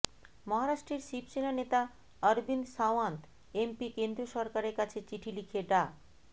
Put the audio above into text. মহারাষ্ট্রের শিবসেনা নেতা অরবিন্দ সাওয়ান্ত এমপি কেন্দ্রীয় সরকারের কাছে চিঠি লিখে ডা